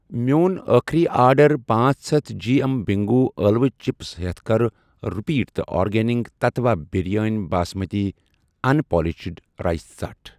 میٚون أخری آرڈر پانژھ ہتھَ جی ایم بِنٛگو ٲلوٕ چِپس ہتھ کر رِپیٖٹ تہٕ organic Tattva biryani basmati unpolished rice ژٹھ۔